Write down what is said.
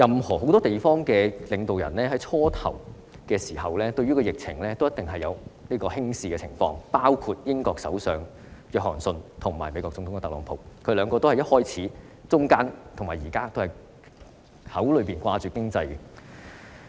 很多地方的領導人在疫情最初爆發時，均一定程度上輕視疫情，包括英國首相約翰遜及美國總統特朗普，他們兩位在疫情開始爆發時以至現在總是談論經濟。